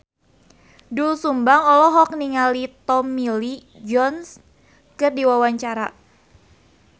Doel Sumbang olohok ningali Tommy Lee Jones keur diwawancara